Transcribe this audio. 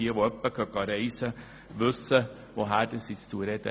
Wer ab und zu auf Reisen geht, weiss, wovon ich spreche.